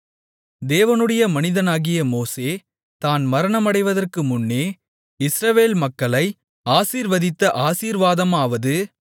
தேவனுடைய மனிதனாகிய மோசே தான் மரணமடைவதற்கு முன்னே இஸ்ரவேல் மக்களை ஆசீர்வதித்த ஆசீர்வாதமாவது